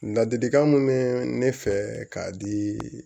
Ladilikan min bɛ ne fɛ k'a di